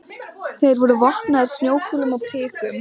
Þeir voru vopnaðir snjókúlum og prikum.